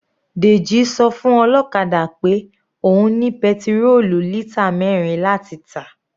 Deji sọ fún ọlọ́kadà pé òun ní petirólù lítà mẹrin láti tà.